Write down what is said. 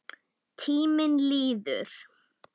Tíminn líður.